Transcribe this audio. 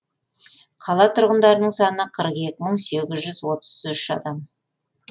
қала тұрғындарының саны қырық екі мың сегіз жүз отыз үш адамды құрайды